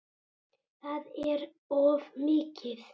Það er of mikið.